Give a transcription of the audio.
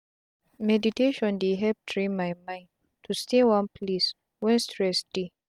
meditation dey help train my mind to stay one place wen stress dey.